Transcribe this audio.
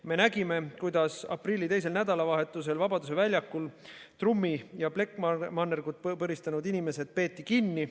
Me nägime, kuidas aprilli teisel nädalavahetusel Vabaduse väljakul trummi ja plekkmannergut põristanud inimesed peeti kinni.